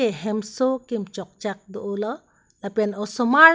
hemso kim chok chak do o lo lapen osomar--